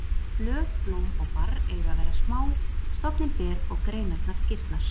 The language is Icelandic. Blöð, blóm og barr eiga að vera smá, stofninn ber og greinarnar gisnar.